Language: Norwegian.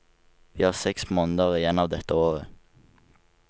Vi har seks måneder igjen av dette året.